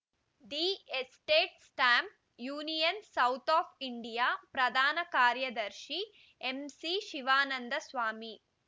the estate Stamp Union South of India ಪ್ರಧಾನ ಕಾರ್ಯದರ್ಶಿ M C Shivananda Swamy